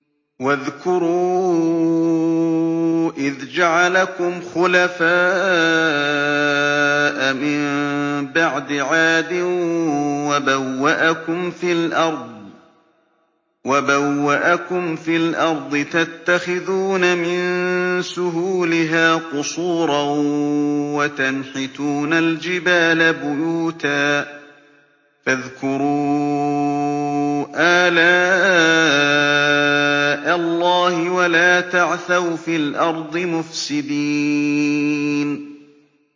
وَاذْكُرُوا إِذْ جَعَلَكُمْ خُلَفَاءَ مِن بَعْدِ عَادٍ وَبَوَّأَكُمْ فِي الْأَرْضِ تَتَّخِذُونَ مِن سُهُولِهَا قُصُورًا وَتَنْحِتُونَ الْجِبَالَ بُيُوتًا ۖ فَاذْكُرُوا آلَاءَ اللَّهِ وَلَا تَعْثَوْا فِي الْأَرْضِ مُفْسِدِينَ